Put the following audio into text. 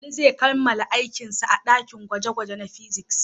Ali zai kammala aikinsa a dakin gwaje-gwaje na fiziks.